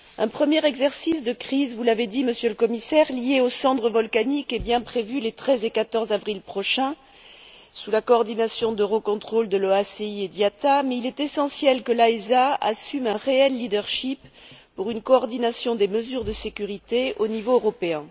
Un premier exercice de crise vous l'avez dit, Monsieur le Commissaire lié aux cendres volcaniques est bien prévu les 13 et 14 avril prochains sous la coordination d'Eurocontrol, de l'OACI et de l'IATA mais il est essentiel que l'AESA assume un réel leadership pour une coordination des mesures de sécurité au niveau européen.